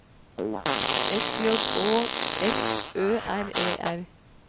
S J Å F Ø R E R